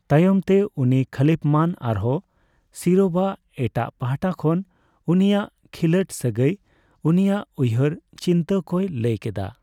ᱛᱟᱭᱚᱢᱛᱮ ᱩᱱᱤ ᱠᱷᱚᱞᱤᱯᱷᱢᱟᱱ ᱟᱨᱦᱚᱸ ᱥᱤᱨᱳᱵᱷ ᱟᱜ ᱮᱴᱟᱜ ᱯᱟᱦᱚᱴᱟ ᱠᱷᱚᱱ ᱩᱱᱤᱭᱟᱜ ᱠᱷᱤᱞᱟᱹᱴ ᱥᱟᱹᱜᱟᱹᱭ ᱩᱱᱤᱭᱟᱜ ᱩᱭᱦᱟᱹᱨ ᱪᱤᱱᱛᱟᱹ ᱠᱚᱭ ᱞᱟᱹᱭ ᱠᱮᱫᱟ ᱾